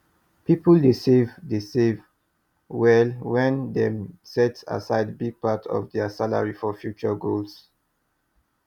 people dey save dey save well when dem set aside big part of their salary for future goals